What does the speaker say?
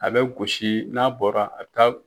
A bɛ gosi n'a bɔra a bi taa.